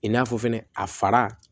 I n'a fɔ fɛnɛ a fara